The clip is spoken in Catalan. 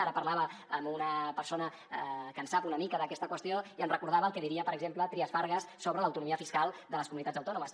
ara parlava amb una persona que en sap una mica d’aquesta qüestió i em recordava el que diria per exemple trias fargas sobre l’autonomia fiscal de les comunitats autònomes